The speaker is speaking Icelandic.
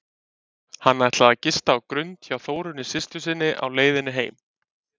Hann ætlaði að gista á Grund hjá Þórunni systur sinni á leiðinni heim.